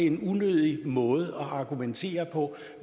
en unødig måde at argumentere på